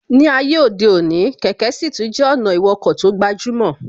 Ní ayé òde òní, kẹ̀kẹ́ sì tún jẹ́ ọ̀nà ìwọkọ̀ tó gbajúmọ̀